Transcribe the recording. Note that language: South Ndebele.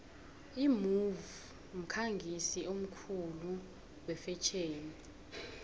imove mkhangisi omkhulu wefetjheni